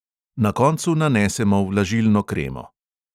Na koncu nanesemo vlažilno kremo.